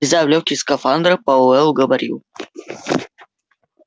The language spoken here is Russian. влезая в лёгкий скафандр пауэлл говорил